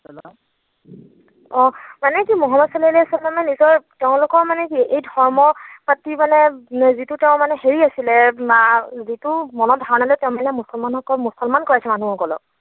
অ, মানে কি মোহাম্মদ ছাল্লাল্লাহু ছাল্লামে নিজৰ তেওঁলোকৰ মানে কি এই ধৰ্মৰ প্ৰতি মানে যিটো তেওঁৰ মানে হেৰি আছিলে বা যিটো ধাৰণা লৈ মনত তেওঁৰ মানে মুছলমান কৈ মুছলমান কৰাইছে মানুহবিলাকক